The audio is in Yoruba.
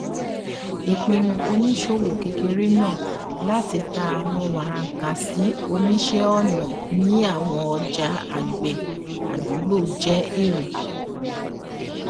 ìpinnu oníṣòwò kékeré náà láti ta àwọn wàràkàṣì oníṣẹ ọnà ní àwọn ọjà àgbẹ àdúgbò jẹ èrè